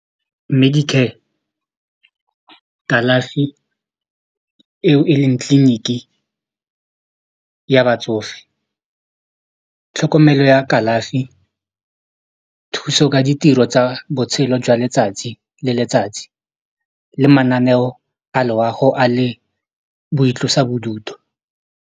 Medicare kalafi eo e leng tleliniki ya batsofe tlhokomelo ya kalafi thuso ka ditiro tsa botshelo jwa letsatsi le letsatsi le mananeo a loago a le boitlosa bodutu.